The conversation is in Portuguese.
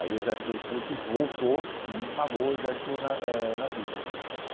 Aí o exército russo voltou e esmagou o exército na eh nazista.